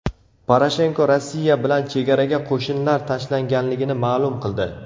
Poroshenko Rossiya bilan chegaraga qo‘shinlar tashlanganligini ma’lum qildi.